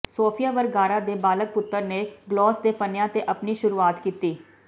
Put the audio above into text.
Sophia Vergara ਦੇ ਬਾਲਗ ਪੁੱਤਰ ਨੇ ਗਲੌਸ ਦੇ ਪੰਨਿਆਂ ਤੇ ਆਪਣੀ ਸ਼ੁਰੂਆਤ ਕੀਤੀ